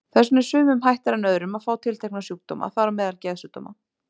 Þess vegna er sumum hættara en öðrum að fá tiltekna sjúkdóma, þar á meðal geðsjúkdóma.